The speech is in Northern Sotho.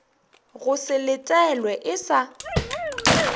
go se letelwe e sa